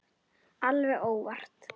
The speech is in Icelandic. Alveg óvart!